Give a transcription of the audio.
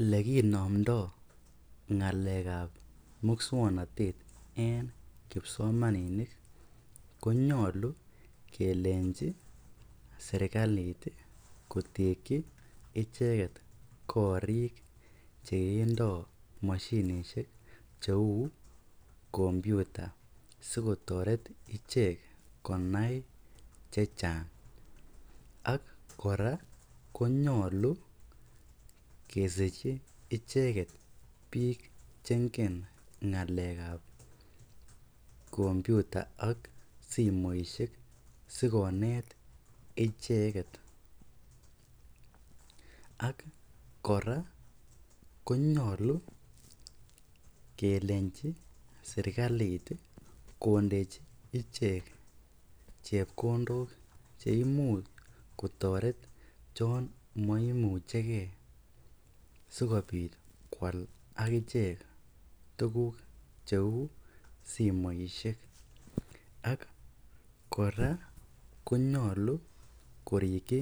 Ele kinomdoi ngalekab muswoknatet en kipsomaninik konyolu kelenji serkalit kotekyi icheget korik che indomoshinishek cheu computer sikotoret ichek konai chechang ak kora konyolu kesirchi icheget biik che ingen ng'alek ab computer ak simoishek sikonet icheket. Akkora konyolu kelenji serkalit kondechi ichek chepkodok che imuch kotoret chon moimuchege sikobit ko al ak ichek tuguk cheu simoishek ak kora konyolu korikyi